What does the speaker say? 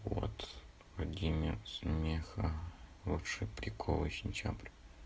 город владимир смеха лучшие приколы сентябрь